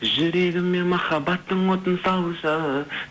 жүрегіме махаббаттың отын салшы